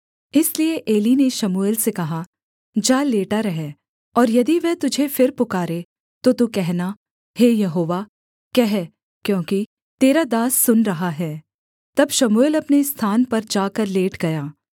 इसलिए एली ने शमूएल से कहा जा लेटा रह और यदि वह तुझे फिर पुकारे तो तू कहना हे यहोवा कह क्योंकि तेरा दास सुन रहा है तब शमूएल अपने स्थान पर जाकर लेट गया